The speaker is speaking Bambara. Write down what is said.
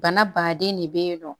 Bana baden de bɛ yen nɔ